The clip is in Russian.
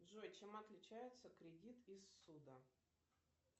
джой чем отличается кредит и ссуда